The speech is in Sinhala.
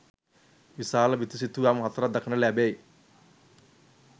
විශාල බිතු සිතුවම් හතරක් දක්නට ලැබෙයි.